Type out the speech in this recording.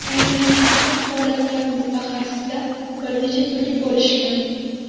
Qolgan barcha holatlarni mutaxassislar bir nechta turga bo‘lishgan.